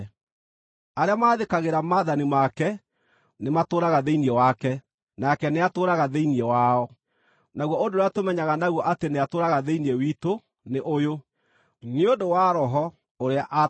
Arĩa maathĩkagĩra maathani make nĩmatũũraga thĩinĩ wake, nake nĩatũũraga thĩinĩ wao. Naguo ũndũ ũrĩa tũmenyaga naguo atĩ nĩatũũraga thĩinĩ witũ nĩ ũyũ: Nĩ ũndũ wa Roho ũrĩa aatũheire.